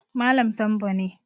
Malam Sambo ne